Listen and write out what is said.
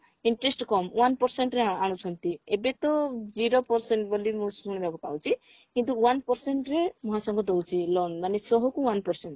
interest କମ one percentରେ ଆଣୁଛନ୍ତି ଏବେ ତ zero percent ବୋଲି ମୁଁ ଶୁଣିବାକୁ ପାଉଛି କିନ୍ତୁ one percent ରେ ମହାସଂଘ ଦଉଛି loan ମାନେ ଶହକୁ one percent